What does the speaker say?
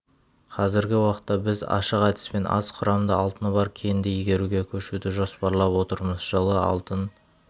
қазіргі уақытта біз ашық әдіспен аз құрамды алтыны бар кенді игеруге көшуді жоспарлап отырмыз жылы алтын